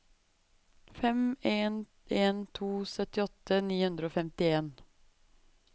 fem en en to syttiåtte ni hundre og femtien